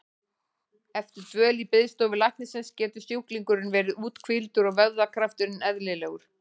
Eftir dvöl í biðstofu læknisins getur sjúklingurinn verið úthvíldur og vöðvakrafturinn eðlilegur.